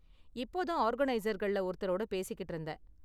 இப்போதான் ஆர்கனைசர்கள்ல ஒருத்தரோட பேசிக்கிட்டு இருந்தேன்.